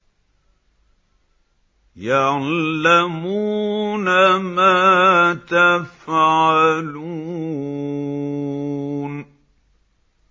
يَعْلَمُونَ مَا تَفْعَلُونَ